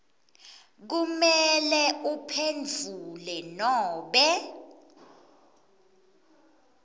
kumele uphendvule nobe